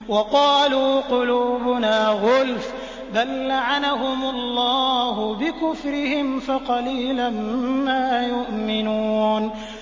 وَقَالُوا قُلُوبُنَا غُلْفٌ ۚ بَل لَّعَنَهُمُ اللَّهُ بِكُفْرِهِمْ فَقَلِيلًا مَّا يُؤْمِنُونَ